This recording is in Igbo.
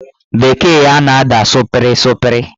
Bekee ya na-ada sụpịrị sụpịrị